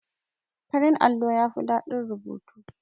Farin allo yafi ɗadin rubutu.